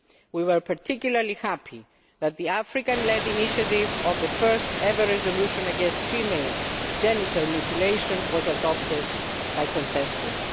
We were particularly happy that the African led initiative on the first ever resolution against female genital mutilation was adopted by consensus.